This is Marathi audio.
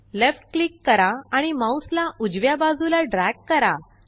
लेफ्ट क्लिक करा आणि माउस ला उजव्या बाजूला ड्रॅग करा